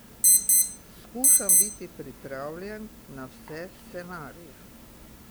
Skušam biti pripravljen na vse scenarije.